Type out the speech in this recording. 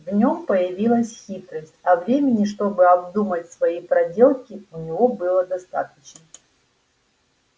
в нём появилась хитрость а времени чтобы обдумать свои проделки у него было достаточно